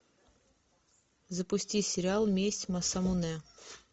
запусти сериал месть масамуне